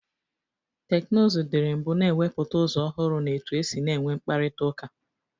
Teknuzụ dịrị mbụ na-ewepụta ụzọ ọhụrụ n'etu esi na-enwe mkparịtaụka.